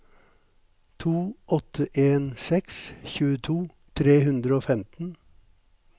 to åtte en seks tjueto tre hundre og femten